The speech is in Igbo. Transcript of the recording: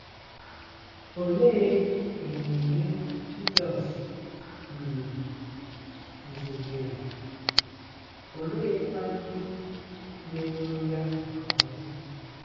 Olee ememe Jizọs um guzobere, oleekwa ndị meworo ya nke ọma?